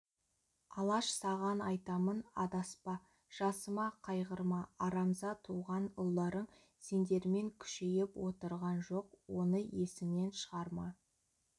алаш саған айтамын адаспа жасыма қайғырма арамза туған ұлдарың сендермен күшейіп отырған жоқ оны есіңнен шығарма